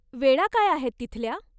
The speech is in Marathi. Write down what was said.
वेळा काय आहेत तिथल्या?